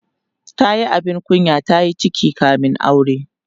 tayi abin kunya tayi ciki kamin aure